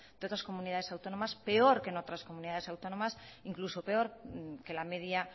de otras comunidades autónomas peor que en otras comunidades autónomas incluso peor que la media